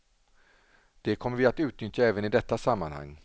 Det kommer vi att utnyttja även i detta sammanhang.